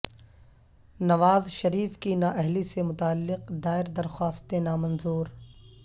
نواز شریف کی نااہلی سے متعلق دائر درخواستیں نامنظور